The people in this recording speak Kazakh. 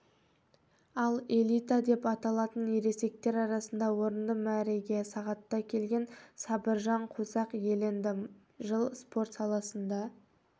ал элита деп аталатын ересектер арасында орынды мәреге сағатта келген сабыржан қосақ иеленді жыл спорт саласында